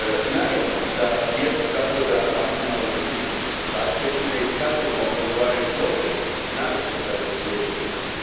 Naravno, da sam za to da maksimalno zaštitimo potrošače i da pokažemo odgovarajući oprez, naročito kada su djeca u pitanju.